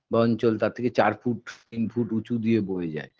বা অঞ্চল তার থেকে চার foot তিন foot উঁচু দিয়ে বয়ে যায়